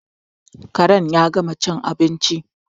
Karen ya gama cin abinci